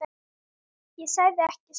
Ég sagði ekki satt.